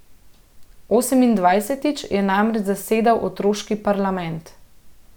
Osemindvajsetič je namreč zasedal otroški parlament.